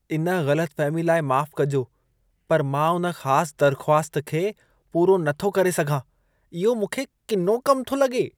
इन ग़लतफ़हमी लाइ माफ़ कजो, पर मां उन ख़ास दरख़्वास्त खे पूरो न थो करे सघां। इहो मूंखे किनो कम थो लॻे।